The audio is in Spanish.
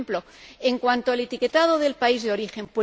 Por ejemplo, en cuanto al etiquetado del país de origen.